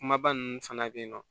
Kumaba ninnu fana bɛ yen nɔ